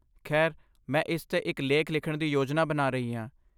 ਖੈਰ, ਮੈਂ ਇਸ 'ਤੇ ਇੱਕ ਲੇਖ ਲਿਖਣ ਦੀ ਯੋਜਨਾ ਬਣਾ ਰਹੀ ਹਾਂ।